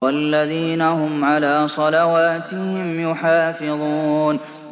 وَالَّذِينَ هُمْ عَلَىٰ صَلَوَاتِهِمْ يُحَافِظُونَ